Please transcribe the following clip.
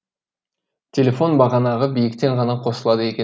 телефон бағанағы биіктен ғана қосылады екен